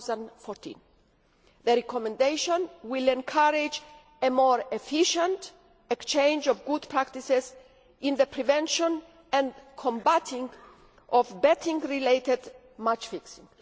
2014. The Recommendation will encourage a more efficient exchange of good practices in the prevention and combating of betting related match fixing.